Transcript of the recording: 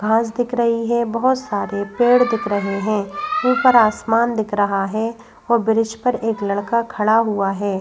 घास दिख रही है बहोत सारे पेड़ दिख रहे है ऊपर आसमान दिख रहा है और ब्रिज पर एक लड़का खड़ा हुआ है।